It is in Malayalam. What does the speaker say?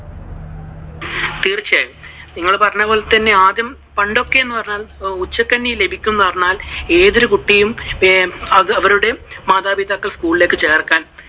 തീർച്ചയായും. നിങ്ങൾ പറഞ്ഞപോലെ പണ്ടൊക്കെ എന്ന് പറഞ്ഞാൽ ഉച്ച കഞ്ഞി ലഭിക്കും എന്ന് പറഞ്ഞാൽ ഏതൊരു കുട്ടിയും അവരുടെ മാതാപിതാക്കളും school ലേക്കു ചേർക്കാൻ